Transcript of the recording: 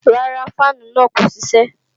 Rárá, fáànù náà kò ṣiṣẹ́